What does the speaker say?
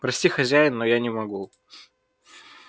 прости хозяин но я не могу